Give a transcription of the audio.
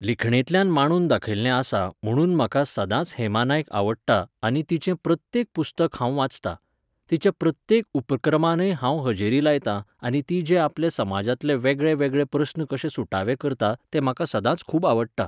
लिखणेंतल्यान मांडून दाखयिल्लें आसा म्हणून म्हाका सदांच हेमा नायक आवडटा आनी तिचें प्रत्येक पुस्तक हांव वाचतां. तिच्या प्रत्येक उपक्रमांनय हांव हजेरी लायतां आनी ती जे आपले समाजांतले वेगळे वेगळे प्रस्न कशे सुटावे करता तें म्हाका सदांच खूब आवडटा